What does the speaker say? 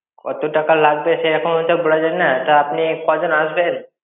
কত টাকা লাগবে সে এখন ঐসব বলা যাবে না তা আপনি কজন আসবেন?